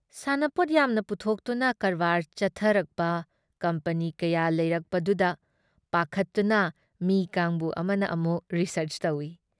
ꯁꯥꯟꯅꯄꯣꯠ ꯌꯥꯝꯅ ꯄꯨꯊꯣꯛꯇꯨꯅ ꯀꯔꯕꯥꯔ ꯆꯠꯈꯔꯛꯄ ꯀꯝꯄꯅꯤ ꯀꯌꯥ ꯂꯩꯔꯛꯄꯗꯨꯗ ꯄꯥꯈꯠꯇꯨꯅ ꯃꯤ ꯀꯥꯡꯕꯨ ꯑꯃꯅ ꯑꯃꯨꯛ ꯔꯤꯁꯥꯔꯆ ꯇꯧꯏ ꯫